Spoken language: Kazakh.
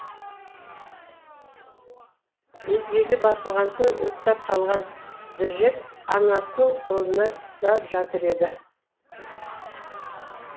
безгегі басылған соң ұйықтап қалған джек анасының қолына да жатыр еді